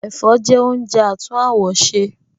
Ẹ̀fọ́ jẹ́ oúnjẹ àtún àwọ̀ ṣe